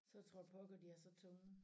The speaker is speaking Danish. Så tror jeg pokker de er så tunge